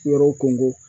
Yɔrɔw ko